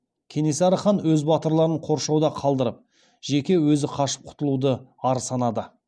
кенесары хан өз батырларын қоршауда қалдырып жеке өзі қашып құтылуды ар санады